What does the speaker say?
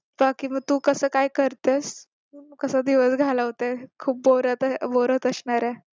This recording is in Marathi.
बाकी मग तू कसं काय करतेस कसा दिवस घालवतेस खूप बोर खूप बोर होत असणारे